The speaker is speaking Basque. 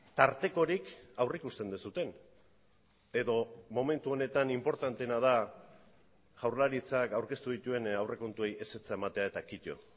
tartekorik aurrikusten duzuen edo momentu honetan inportanteena da jaurlaritzak aurkeztu dituen aurrekontuei ezetza ematea eta kito